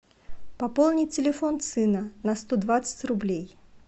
пополнить телефон сына на сто двадцать рублей